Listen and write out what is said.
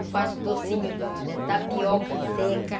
Eu faço docinho do da tapioca seca.